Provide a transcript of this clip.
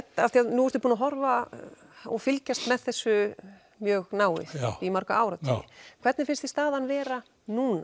nú ertu búinn að horfa og fylgjast með þessu mjög náið í marga áratugi hvernig finnst þér staðan vera núna